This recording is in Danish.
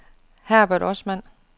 Herbert Osman